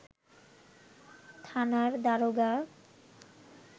থানার দারোগা